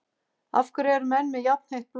Af hverju eru menn með jafnheitt blóð?